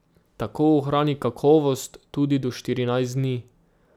Tako ohrani kakovost tudi do štirinajst dni.